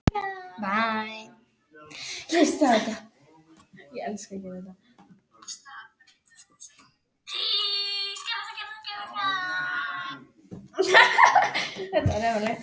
Taktu þetta ekki nærri þér, kallinn.